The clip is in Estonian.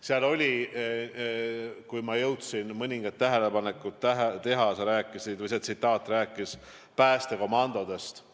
Seal oli – ma jõudsin mõningad tähelepanekud teha – juttu ka päästekomandodest.